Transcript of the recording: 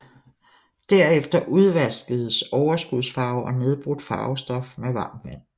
Derefter udvaskes overskudsfarve og nedbrudt farvestof med varmt vand